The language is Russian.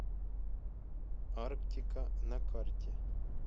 арктика на карте